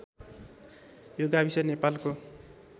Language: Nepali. यो गाविस नेपालको